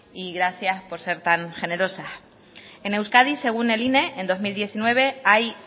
y gracias por ser tan generosas en euskadi según el ine en dos mil diecinueve hay